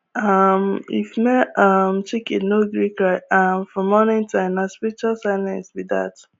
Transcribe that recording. um if male um chicken no gree cry um for morning time nah spiritual silence be dat